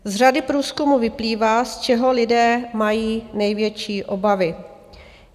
Z řady průzkumů vyplývá, z čeho lidé mají největší obavy.